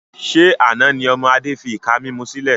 Ṣé àna ni ọmọ Adé fi ìka mímú sílẹ̀?